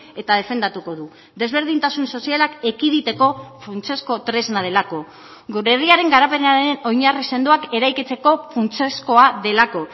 eta defendatuko du desberdintasun sozialak ekiditeko funtsezko tresna delako gure herriaren garapenaren oinarri sendoak eraikitzeko funtsezkoa delako